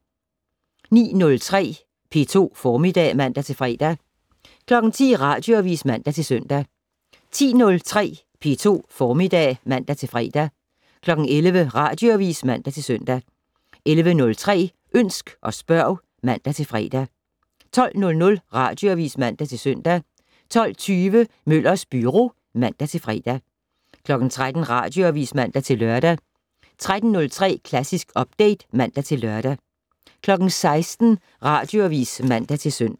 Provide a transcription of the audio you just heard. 09:03: P2 Formiddag (man-fre) 10:00: Radioavis (man-søn) 10:03: P2 Formiddag (man-fre) 11:00: Radioavis (man-søn) 11:03: Ønsk og spørg (man-fre) 12:00: Radioavis (man-søn) 12:20: Møllers Byro (man-fre) 13:00: Radioavis (man-lør) 13:03: Klassisk Update (man-lør) 16:00: Radioavis (man-søn)